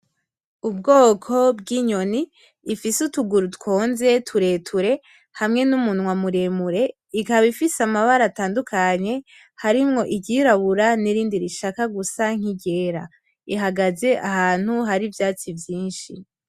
Ubwoko bw'inyoni ifise utuguru twonze tureture hamwe n'umunwa muremure , ikaba ifise amabara atandukanye harimwo iry'irabura n'irindi rishaka gusa nk'iryera, ihagaze ahantu hari ivyatsi vyinshi.